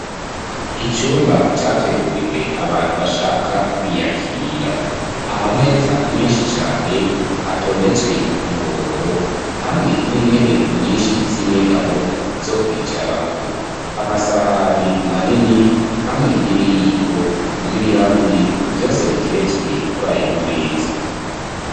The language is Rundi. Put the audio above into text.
Icumba categuriwe abantu bashaka kwiyakira, amameza menshi cane atondetswe ku murongo hamwe n'intebe nyinshi z'inyegamo zo kwicarako, amasahani manini, hamwe n'ibiyiko, n'ibirahuri, vyose biteretswe kurayo ma meza.